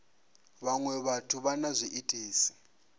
vhaṅwe vhathu vha na zwiitisi